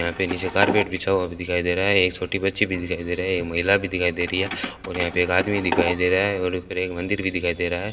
यहां पे नीचे एक कारपेट भी बिछा हुआ भी दिखाई दे रहा है एक छोटी बच्ची भी दिखाई दे रहा है एक महिला भी दिखाई दे रही है और यहां पे एक आदमी भी दिखाई दे रहा है और ऊपर एक मंदिर भी दिखाई दे रहा है।